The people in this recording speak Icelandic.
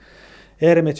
er einmitt